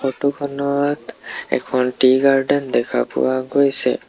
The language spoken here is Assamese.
ফটো খনত এখন টি গাৰ্ডেন দেখা পোৱা গৈছে।